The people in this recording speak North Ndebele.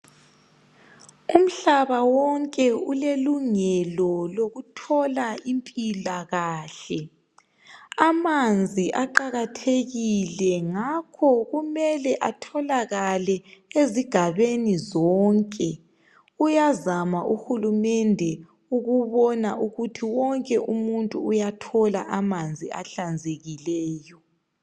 Umhlaba wonke ulelungelo lokuthola impilakahle. Amanzi aqakathekile ngakho kumele atholakale ezigabeni zonke. Uyazama uhulumende ukubona ukuthi wonke umuntu uyathola amanzi ahlanzekileyo.